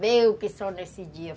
Veio que só nesse dia.